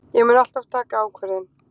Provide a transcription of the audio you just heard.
Ég mun alltaf taka ákvörðun.